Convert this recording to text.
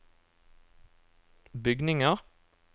bygninger